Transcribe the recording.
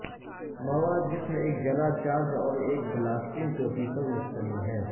مواد جسم ایک جلا چارج اور ایک بلاسٹنگ ٹوپی پر مشتمل ہے